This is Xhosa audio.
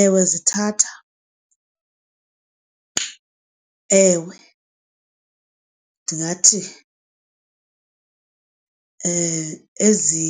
Ewe zithatha ewe ndingathi ezi